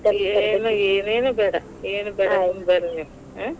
ಏನು ಏನೇನು ಬೇಡಾ ಬರ್ರಿ ನೀವ್ ಹಾ.